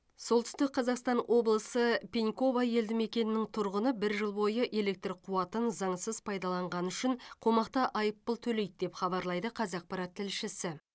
солтүстік қазақстан облысы пеньково елді мекенінің тұрғыны бір жыл бойы электр қуатын заңсыз пайдаланғаны үшін қомақты айыппұл төлейді деп хабарлайды қазақпарат тілшісі